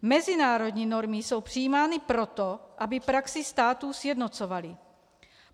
Mezinárodní normy jsou přijímány proto, aby praxi států sjednocovaly.